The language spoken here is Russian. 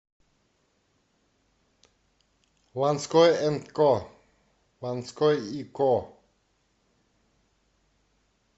ланской энд ко ланской и ко